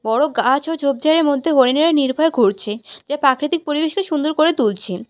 বড় গাছ ও ঝোপঝাড়ের মধ্যে হরিণেরা নির্ভয়ে ঘুরছে যা প্রাকৃতিক পরিবেশকে সুন্দর করে তুলছে।